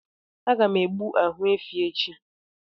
Aga m egbu ahụ efi echi